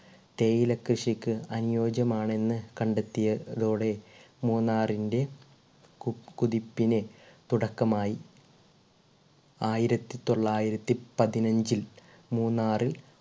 തേയില കൃഷിക്ക് അനുയോജ്യമാണെന്ന് കണ്ടെത്തിയ തോടെ മൂന്നാറിൻ്റെ കുതി കുതിപ്പിലെ തുടക്കമായി. ആയിരത്തി തൊള്ളായിരത്തി പതിനഞ്ചിൽ മൂന്നാറിൽ